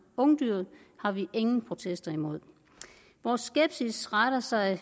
ungdyr har vi ingen protester imod vores skepsis retter sig